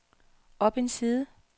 op en side